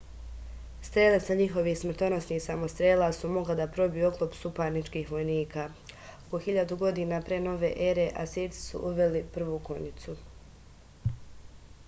strele sa njihovih smrtonosnih samostrela su mogle da probiju oklop suparničkih vojnika oko 1000. p n e asirci su uveli prvu konjicu